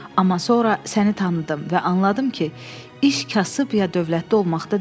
Amma sonra səni tanıdım və anladım ki, iş kasıb ya dövlətli olmaqda deyil.